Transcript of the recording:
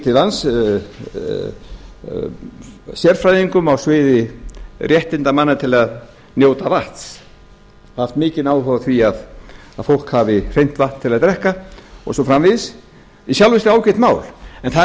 til lands sérfræðingum á sviði réttinda manna til að njóta vatns haft mikinn áhuga á því að fólk hafi hreint vatn til að drekka og svo framvegis sem í sjálfu sér ágætt mál en það er